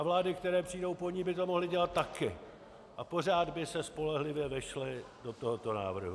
A vlády, které přijdou po ní, by to mohly dělat taky a pořád by se spolehlivě vešly do tohoto návrhu.